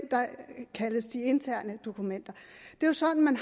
kaldes de interne dokumenter det er sådan